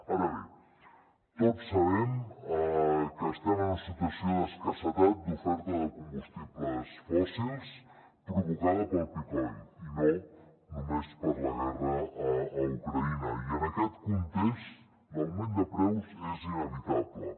ara bé tots sabem que estem en una situació d’escassetat d’oferta de combustibles fòssils provocada pel peak oil i no només per la guerra a ucraïna i en aquest context l’augment de preus és inevitable